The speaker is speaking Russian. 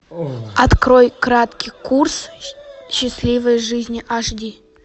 открой краткий курс счастливой жизни аш ди